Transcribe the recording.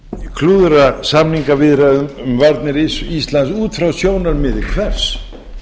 klúðra samningaviðræðum um varnir íslands út frá sjónarmiði hvers